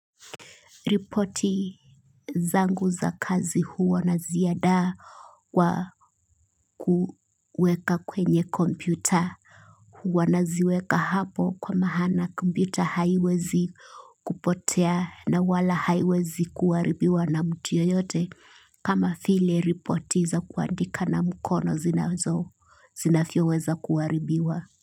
Ripoti zangu za kazi huwa naziandaa wa kuweka kwenye kompyuta. Hua na ziweka hapo kwa maana kompyuta haiwezi kupotea na wala haiwezi kuharibiwa na mtu yeyote. Kama vile ripoti za kuandika na mkono zinavyo weza kuharibiwa.